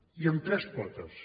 i amb tres potes